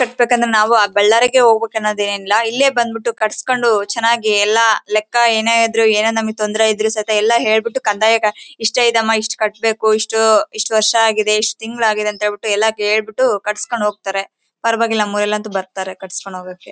Cut ಬೇಕಂದ್ರೆ ನಾವು ಬಳ್ಳಾರಿಗೆ ಹೋಗ್ಬೇಕನ್ನೋದು ಏನು ಇಲ್ಲ ಇಲ್ಲೇ ಬಂದು ಬಿಟ್ಟು ಕಟ್ಟಿಸಿಕೊಂಡು ಚೆನ್ನಾಗಿ ಎಲ್ಲ ಲೆಕ್ಕ ಏನೇ ಇದ್ರೂ ಏನೇ ನಮಗೆ ತೊಂದರೆ ಇದ್ರೂ ಸಹಿತ ಎಲ್ಲ ಹೇಳ್ಬಿಟ್ಟು ಕಂದಾಯದ ಇಷ್ಟ ಐತೆ ಅಮ್ಮ ಇಷ್ಟು ಕಟ್ಟಬೇಕು ಇಷ್ಟ್ ಇಷ್ಟು ವರ್ಷ್ ಆಗಿದೆ ಇಷ್ಟು ತಿಂಗಳು ಆಗಿದೆ ಅಂತ ಹೇಳ್ಬಿಟ್ಟು ಎಲ್ಲರಿಗೆ ಹೇಳ್ಬಿಟ್ಟು ಕಟ್ಟಿಸಿಕೊಂಡು ಹೋಗ್ತಾರೆ ಪರವಾಗಿಲ್ಲ ಮೊಡಲಂತೂ ಬರ್ತಾರೆ ಕಟ್ಟಿಸಿಕೊಂಡು ಹೋಗೋಕೆ .